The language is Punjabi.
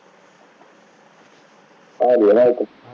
ਆ ਗਿਆ ਨਾ ਅੰਕਿਤ